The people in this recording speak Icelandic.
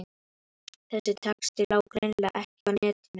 Þessi texti lá greinilega ekki á netinu.